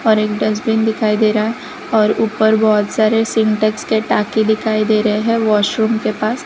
और एक डस्टबिन दिखाई दे रहा है और ऊपर बहोत सारे सिंटेक्स के टाकि दिखाई दे रहे है वॉशरूम के पास--